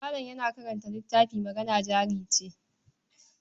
Malam yana karanta littafin Magana Jari Ce.